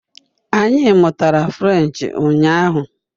Anyị mụtara French ụnyaahụ